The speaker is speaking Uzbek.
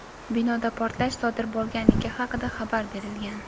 Binoda portlash sodir bo‘lganligi haqida xabar berilgan.